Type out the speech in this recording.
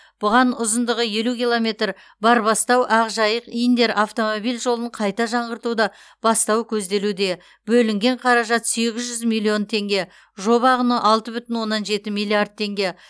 бұған ұзындығы елу километр барбастау ақжайық индер автомобиль жолын қайта жаңғыртуды бастау көзделуде бөлінген қаражат сегіз жүз миллион теңге жоба құны алты бүтін оннан жеті миллиард теңге